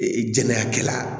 Ee jɛnɛya kɛla